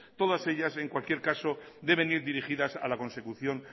todas ellas en cualquier caso deben ir dirigidas a la consecución